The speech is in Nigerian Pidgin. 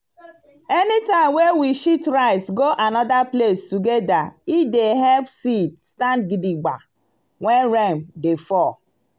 anytime wey we shift rice go another place together e dey help seed stand gidigba when rain dey fall.